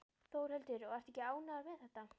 Þórhildur: Og ertu ekki ánægður með þetta?